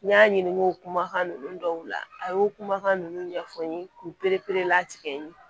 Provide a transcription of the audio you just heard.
N y'a ɲininka olu dɔw la a y'o kumakan ninnu ɲɛfɔ n ye k'u perepere la tigɛ n ye